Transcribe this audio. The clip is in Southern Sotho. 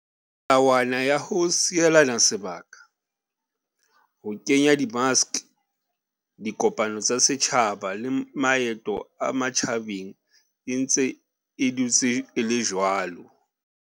Melawana ya ho sielana sebaka, ho kenya di maske, dikopano tsa setjhaba le maeto a matjhabeng e ntse e dutse e le jwalo.